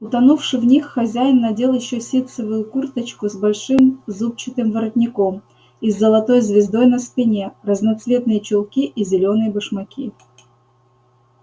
утонувши в них хозяин надел ещё ситцевую курточку с большим зубчатым воротником и с золотой звездой на спине разноцветные чулки и зелёные башмаки